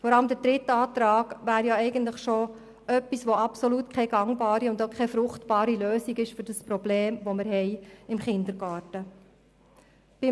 Vor allem der dritte Antrag wäre keine gangbare, keine fruchtbare Lösung für das Problem, das wir im Kindergarten haben.